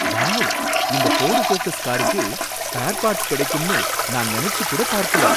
Wow! இந்த Ford Focus காருக்கு spare parts கிடைக்கும்னு நான் நினைச்சு கூடப் பார்க்கல.